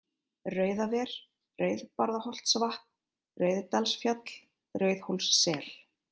Rauðaver, Rauðbarðaholtsvatn, Rauðdalsfjall, Rauðhólssel